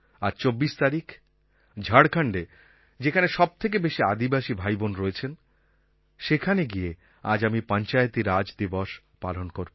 আজ ২৪ তারিখ ঝাড়খণ্ডে যেখানে সবথেকে বেশি আদিবাসী ভাইবোন রয়েছেন সেখানে গিয়ে আজ আমি পঞ্চায়েতি রাজ দিবস পালন করব